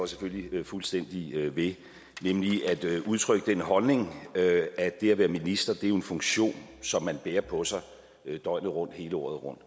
selvfølgelig fuldstændig ved jeg udtrykker nemlig den holdning at at det at være minister jo er en funktion som man bærer på sig døgnet rundt hele året rundt